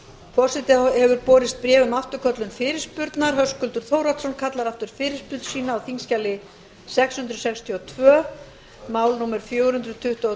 forseta hefur borist bréf um afturköllun fyrirspurnar höskuldur þórhallsson kallar aftur fyrirspurn sína á þingskjali sex hundruð sextíu og tvö mál númer fjögur hundruð tuttugu og